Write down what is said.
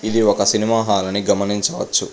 ఇది ఒక సినిమా హాలని గమనించవచ్చు.